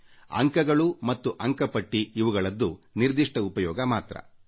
ಅಂಕಗಳು ಮತ್ತು ಅಂಕಪಟ್ಟಿ ಸೀಮಿತ ಉದ್ದೇಶ ಮಾತ್ರ ಈಡೇರಿಸುತ್ತದೆ